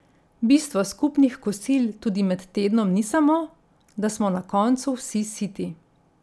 Bistvo skupnih kosil tudi med tednom ni samo, da smo na koncu vsi siti.